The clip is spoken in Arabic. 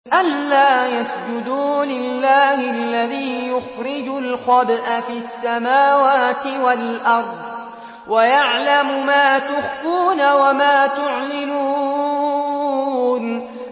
أَلَّا يَسْجُدُوا لِلَّهِ الَّذِي يُخْرِجُ الْخَبْءَ فِي السَّمَاوَاتِ وَالْأَرْضِ وَيَعْلَمُ مَا تُخْفُونَ وَمَا تُعْلِنُونَ